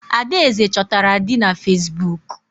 Adaeze chọtara di na Facebook.